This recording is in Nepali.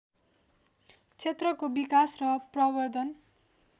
क्षेत्रको विकास र प्रबर्द्धन